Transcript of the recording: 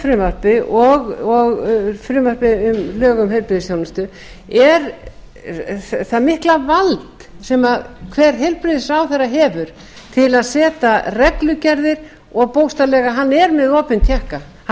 frumvarpi og frumvarpi um lög um heilbrigðisþjónustu er það mikla vald sem hver heilbrigðisráðherra hefur til að setja reglugerðir og bókstaflega hann er með opinn tékka hann